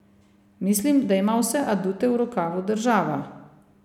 Mislim, da ima vse adute v rokavu država.